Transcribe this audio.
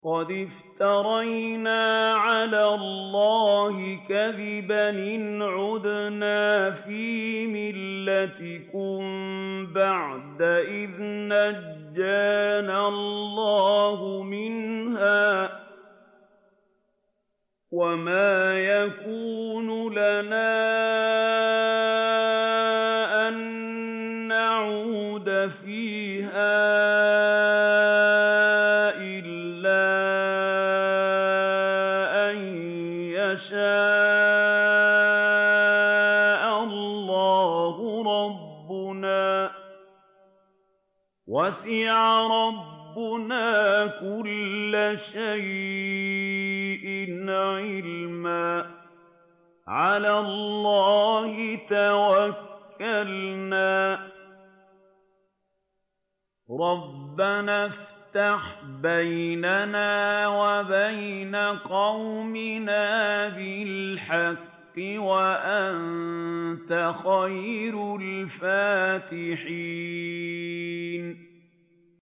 قَدِ افْتَرَيْنَا عَلَى اللَّهِ كَذِبًا إِنْ عُدْنَا فِي مِلَّتِكُم بَعْدَ إِذْ نَجَّانَا اللَّهُ مِنْهَا ۚ وَمَا يَكُونُ لَنَا أَن نَّعُودَ فِيهَا إِلَّا أَن يَشَاءَ اللَّهُ رَبُّنَا ۚ وَسِعَ رَبُّنَا كُلَّ شَيْءٍ عِلْمًا ۚ عَلَى اللَّهِ تَوَكَّلْنَا ۚ رَبَّنَا افْتَحْ بَيْنَنَا وَبَيْنَ قَوْمِنَا بِالْحَقِّ وَأَنتَ خَيْرُ الْفَاتِحِينَ